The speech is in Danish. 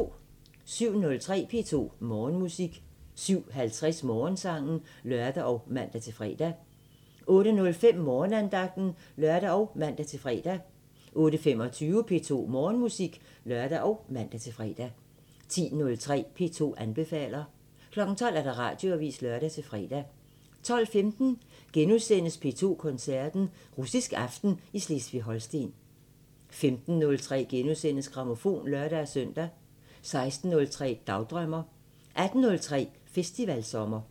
07:03: P2 Morgenmusik 07:50: Morgensangen (lør og man-fre) 08:05: Morgenandagten (lør og man-fre) 08:25: P2 Morgenmusik (lør og man-fre) 10:03: P2 anbefaler 12:00: Radioavisen (lør-fre) 12:15: P2 Koncerten – Russisk aften i Slesvig-Holsten * 15:03: Grammofon *(lør-søn) 16:03: Dagdrømmer 18:03: Festivalsommer